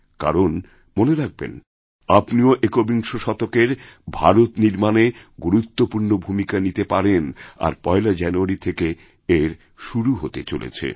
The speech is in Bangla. কারণ মনেরাখবেন আপনিও একবিংশ শতকের ভারত নির্মাণে গুরুত্বপূর্ণ ভূমিকা নিতে পারেন আর পয়লাজানুয়ারি থেকেই এর শুরু হতে যাচ্ছে